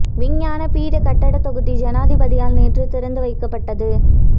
விஞ்ஞான பீட கட்டடத் தொகுதி ஜனாதிபதியால் நேற்று திறந்து வைக்கப்பட்டது